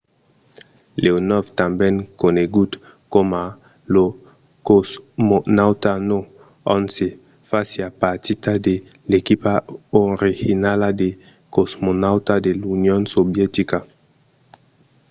leonòv tanben conegut coma lo cosmonauta no. 11 fasiá partida de l'equipa originala de cosmonautas de l'union sovietica